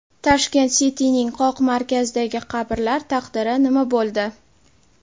Tashkent City’ning qoq markazidagi qabrlar taqdiri nima bo‘ldi?